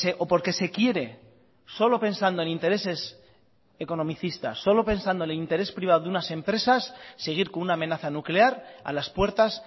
o porque se quiere solo pensando en intereses economicistas solo pensando en el interés privado de unas empresas seguir con una amenaza nuclear a las puertas